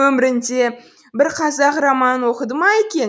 өмірінде бір қазақ романын оқыды ма екен